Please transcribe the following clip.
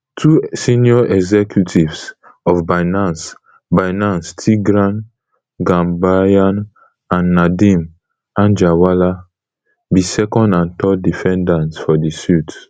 two senior executives of binance binance tigran gambaryan and nadeem anjarwalla be second and third defendants for di suit